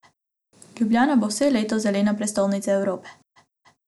Ljubljana bo vse leto zelena prestolnica Evrope.